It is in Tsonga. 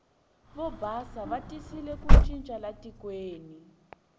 vo basa va tisile ku cinca laha tikweni